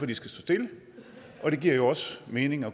de skal stå stille og det giver jo også mening og